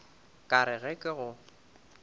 ka re ge ke go